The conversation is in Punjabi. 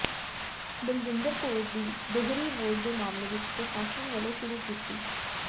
ਬਲਜਿੰਦਰ ਕੌਰ ਦੀ ਦੋਹਰੀ ਵੋਟ ਦੇ ਮਾਮਲੇ ਵਿਚ ਪ੍ਰਸ਼ਾਸਨ ਵਲੋਂ ਸ਼ੁਰੂ ਕੀਤੀ